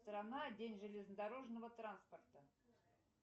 страна день железнодорожного транспорта